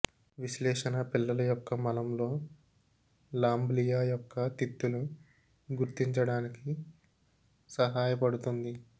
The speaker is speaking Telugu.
విశ్లేషణ పిల్లల యొక్క మలం లో లాంబ్లియా యొక్క తిత్తులు గుర్తించడానికి సహాయపడుతుంది